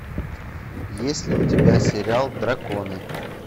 есть ли у тебя сериал драконы